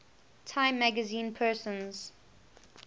time magazine persons